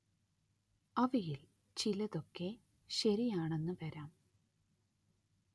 അവയിൽ ചിലതൊക്കെ ശരിയാണെന്ന് വരാം